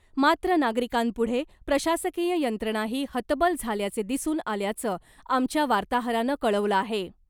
मात्र नागरिकांपुढे प्रशासकीय यंत्रणाही हतबल झाल्याचे दिसून आल्याचं आमच्या वार्ताहरानं कळवलं आहे .